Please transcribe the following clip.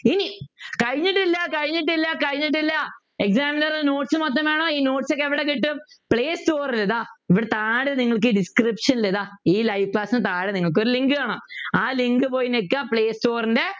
ഇനി കഴിഞ്ഞിട്ടില്ല കഴിഞ്ഞിട്ടില്ല കഴിഞ്ഞിട്ടില്ല examiner notes മൊത്തം വേണോ ഈ notes ഒക്കെ എവിടെ കിട്ടും പ്ലേസ്റ്റോറിൽ ഇതാ ഇവിടെ താഴെ നിങ്ങൾക്ക് description ൽ ഇതാ ഇ live class നു താഴെ നിങ്ങൾക്കൊരു link കാണാം കാണാം ആ link പോയി ഞെക്കിയാൽ പ്ലെയ്സ്റ്റോർൻ്റെ